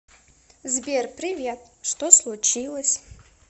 сбер привет что случилось